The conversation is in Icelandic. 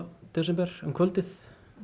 desember um kvöldið